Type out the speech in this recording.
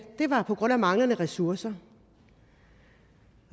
var på grund af manglende ressourcer